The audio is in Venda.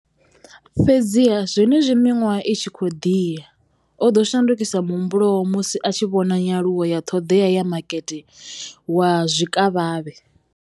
Fhedziha, zwenezwi miṅwaha i tshi khou ḓi ya, o ḓo shandukisa muhumbulo musi a tshi vhona nyaluwo ya ṱhoḓea ya makete wa zwikavhavhe.